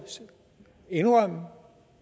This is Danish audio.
indrømme